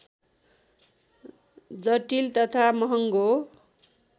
जटिल तथा महङ्गो